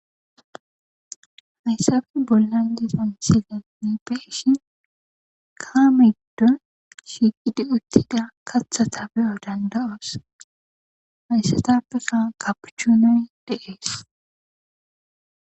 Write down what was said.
hayssafe bollan diza misilene beyishi kaamedo shiiqidi uttida katha tabeyo danda7oos hayssatappeka kapuchunoy deees